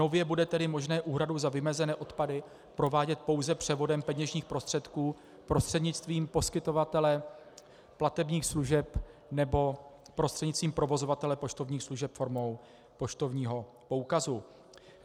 Nově bude tedy možné úhradu za vymezené odpady provádět pouze převodem peněžních prostředků prostřednictvím poskytovatele platebních služeb nebo prostřednictvím provozovatele poštovních služeb formou poštovního poukazu.